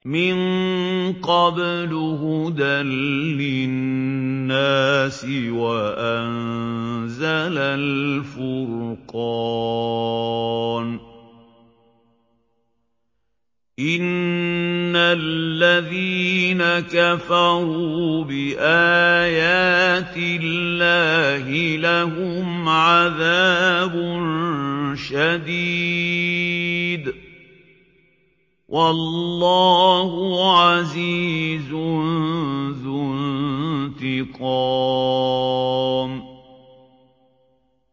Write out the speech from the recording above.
مِن قَبْلُ هُدًى لِّلنَّاسِ وَأَنزَلَ الْفُرْقَانَ ۗ إِنَّ الَّذِينَ كَفَرُوا بِآيَاتِ اللَّهِ لَهُمْ عَذَابٌ شَدِيدٌ ۗ وَاللَّهُ عَزِيزٌ ذُو انتِقَامٍ